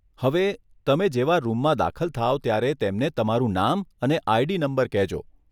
હવે, તમે જેવાં રૂમમાં દાખલ થાવ ત્યારે તેમને તમારું નામ અને આઈડી નંબર કહેજો.